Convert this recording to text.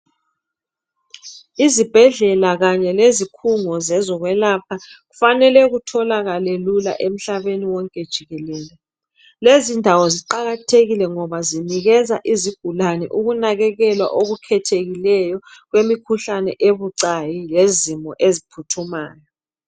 Izibhedlela kanye lezi khungo zezokwelapha kufanele kutholakale lula emhlabeni wonke jikelele. Lezi ndawo ziqakathekile ngoba zinikeza izigulane ukunakekelwa okukhethekileyo kwemikhuhlane ebucayi lezimo eziphuthumayo.